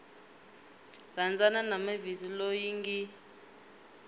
rhandzana na mavis loyi ngi